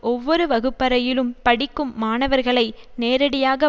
ஒவ்வொரு வகுப்பறையிலும் படிக்கும் மாணவர்களை நேரடியாக